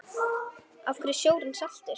Af hverju er sjórinn saltur?